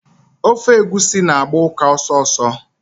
Ofe egwusi na-agba ụka ọsọsọ.